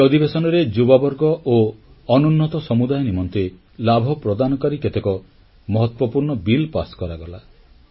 ଏହି ଅଧିବେଶନରେ ଯୁବବର୍ଗ ଓ ଅନୁନ୍ନତ ସମୁଦାୟ ନିମନ୍ତେ ଲାଭ ପ୍ରଦାନକାରୀ କେତେକ ମହତ୍ୱପୂର୍ଣ୍ଣ ବିଲ୍ ପାସ କରାଗଲା